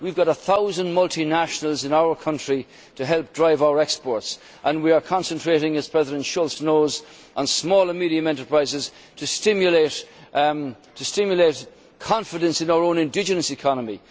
We have got a thousand multinationals in our country to help drive our exports, and we are concentrating, as President Schulz knows, on small and medium enterprises to stimulate confidence in our own indigenous economy.